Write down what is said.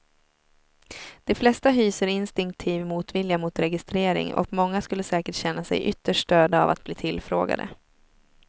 De flesta hyser instinktiv motvilja mot registrering och många skulle säkert känna sig ytterst störda av att bli tillfrågade.